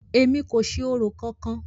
Èmi kò ṣe orò kankan!